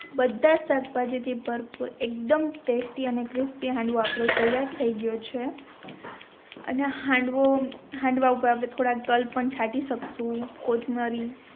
બાધધજ શાક ભાજી થી ભરપૂર એકદમ ટેસ્ટિ અને ક્રિસ્પિ આપનો હાંડવો તૈયાર થઈ ગયો છે અને હાંડવો હાંડવા ઉપર આપણે થોડાક તલ પણ છાતી શકશું કોથમરી